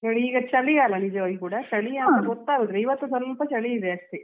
ಈಗ ಚಳಿಗಾಲ ನಿಜವಾಗಿಯೂ ಕೂಡ ಚಳಿ ಅಂತ ಗೊತ್ತಾಗುದಿಲ್ಲಾ ಈವತ್ತು ಕೂಡ ಸ್ವಲ್ಪ ಚಳಿ ಇದೆ ಅಷ್ಟೇ.